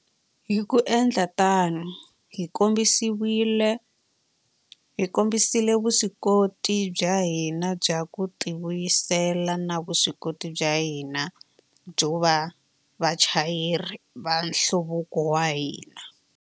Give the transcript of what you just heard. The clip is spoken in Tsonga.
Hi ku endla tano, hi kombisile vuswikoti bya hina bya ku tivuyisela na vuswikoti bya hina byo va vachayeri va nhluvuko wa hina.